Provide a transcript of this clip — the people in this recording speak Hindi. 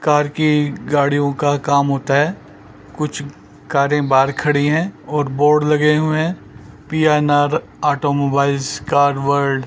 कार की गाड़ियों का काम होता है कुछ कारे बाहर खड़ी है और बोर्ड लगे हुए है पी_एन_आर ऑटोमोबाइल कार वर्ल्ड --